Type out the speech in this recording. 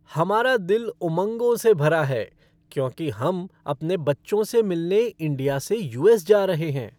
हमारा दिल उमंगों से भरा है क्योंकि हम अपने बच्चों से मिलने इंडिया से यू.एस. जा रहे हैं।